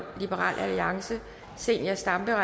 zenia stampe